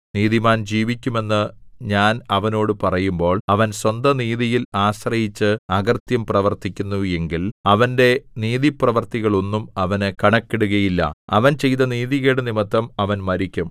നീതിമാൻ ജീവിക്കുമെന്ന് ഞാൻ അവനോട് പറയുമ്പോൾ അവൻ സ്വന്ത നീതിയിൽ ആശ്രയിച്ച് അകൃത്യം പ്രവർത്തിക്കുന്നു എങ്കിൽ അവന്റെ നീതിപ്രവൃത്തികൾ ഒന്നും അവനു കണക്കിടുകയില്ല അവൻ ചെയ്ത നീതികേടുനിമിത്തം അവൻ മരിക്കും